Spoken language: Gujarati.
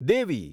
દેવી